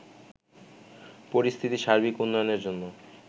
পরিস্থিতির সার্বিক উন্নয়নের জন্য